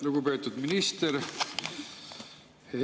Lugupeetud minister!